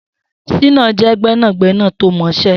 Shina jẹ̀ gbẹnágbẹná tó mọṣẹ̀